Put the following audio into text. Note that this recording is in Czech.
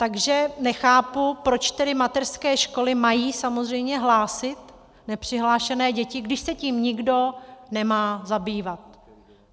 Takže nechápu, proč tedy mateřské školy mají samozřejmě hlásit nepřihlášené děti, když se tím nikdo nemá zabývat.